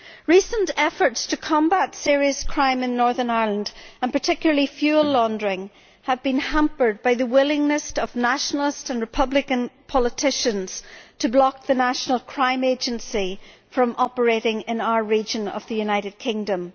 Recent efforts to combat serious crime in Northern Ireland and particularly fuel laundering have been hampered by the willingness of Nationalist and Republican politicians to block the national crime agency from operating in our region of the United Kingdom.